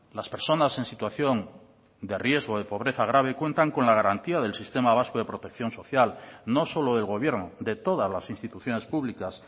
las personas en situación de riesgo de pobreza grave cuentan con la garantía del sistema vasco de protección social no solo del gobierno de todas las instituciones públicas